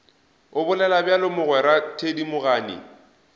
o bolela bjalo mogwera thedimogane